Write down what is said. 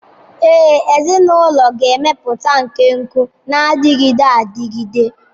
Ee, ezinụlọ ga-emepụta nkekọ na-adịgide adịgide.